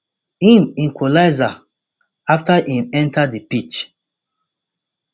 im equalizer afta im enta di pitch